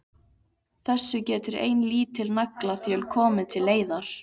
Þessu getur ein lítil naglaþjöl komið til leiðar.